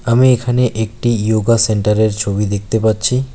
আমি এখানে একটি ইয়োগা সেন্টারের ছবি দেখতে পাচ্ছি।